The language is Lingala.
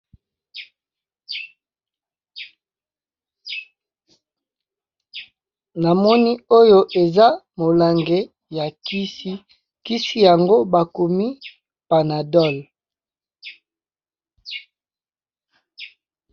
Namoni oyo eza molangi ya kisi, kisi yango bakomi panadol.